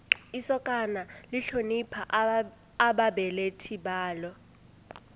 isokana lihlonipha ababelethi balo